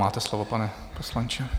Máte slovo, pane poslanče.